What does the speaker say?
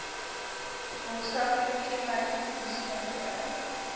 maatskaplike kenmerke polisiekantore